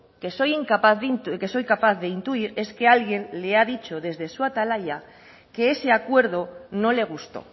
que soy capaz de intuir es que alguien le ha dicho desde su atalaya que ese acuerdo no le gustó